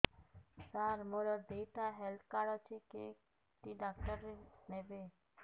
ସାର ମୋର ଦିଇଟା health card ଅଛି କେ କାର୍ଡ ଟି ଡାକ୍ତରଖାନା ରେ ନେବେ